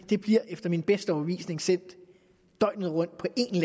det bliver efter min bedste overbevisning sendt døgnet rundt på